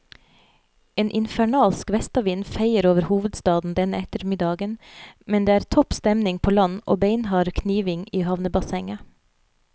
En infernalsk vestavind feier over hovedstaden denne ettermiddagen, men det er topp stemning på land og beinhard kniving i havnebassenget.